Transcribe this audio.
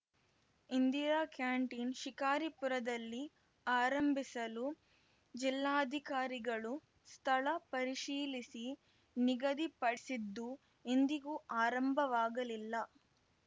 Indira canteen ಶಿಕಾರಿಪುರದಲ್ಲಿ ಆರಂಭಿಸಲು ಜಿಲ್ಲಾಧಿಕಾರಿಗಳು ಸ್ಥಳ ಪರಿಶೀಲಿಸಿ ನಿಗದಿಪಡಿಸಿದ್ದು ಇಂದಿಗೂ ಆರಂಭವಾಗಲಿಲ್ಲ